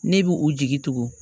Ne bi u jigi tugu